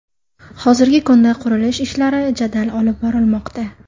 Hozirgi kunda qurilish ishlari jadal olib borilmoqda.